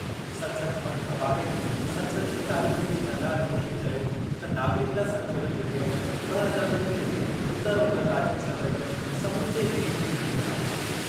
संसद भवन खां ॿाहिर संसदीय कार्य मंत्री प्रह्लाद जोशीअ चयो त नागरिकता संशोधन विधेयक ॿ हज़ार उणिवीह उतर ओभर राज्यनि सां गॾु समूचे देश जे हित में आहे।